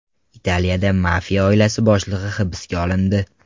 Italiyada mafiya oilasi boshlig‘i hibsga olindi.